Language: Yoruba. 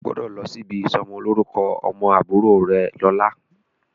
O gbọ́dọ̀ lọ sí ìsọmọlórúkọ ọmọ àbúrò rẹ lọ́la.